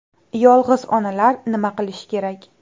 Yolg‘iz onalar nima qilishi kerak?